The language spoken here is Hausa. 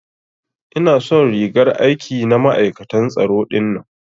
Ina son rigar aiki na ma'aikatan tsaro dinnan.